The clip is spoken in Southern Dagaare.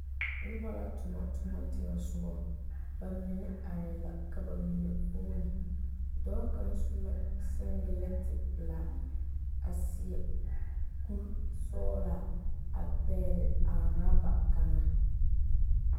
Noba la tuna tuma teŋa soga bamine are la ka bamine vuune dɔɔ kaŋ su la singeleti pelaa a seɛ kuri sɔglaa a pegle a oreba kaŋa.